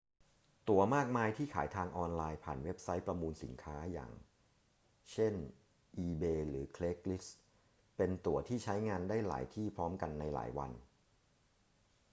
ตั๋วมากมายที่ขายทางออนไลน์ผ่านเว็บไซต์ประมูลสินค้า อย่างเช่น อีเบย์ หรือ เครกส์ลิสต์ เป็นตั๋วที่ใช้งานได้หลายที่พร้อมกันในหลายวัน